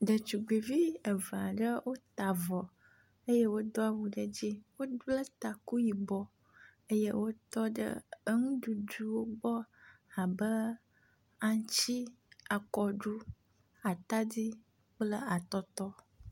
Ɖetugbi eve aɖewo ta avɔ eye wodo awu ɖe edzi, wobble taku yibɔ eye wotɔ ɖe enuɖuɖuwo gbɔ abe aŋtsi, akɔɖu, atadi, kple atɔtɔ.